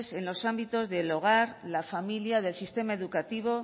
en los ámbitos del hogar la familia del sistema educativo